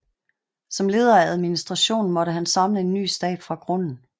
Som leder af administrationen måtte han samle en ny stab fra grunden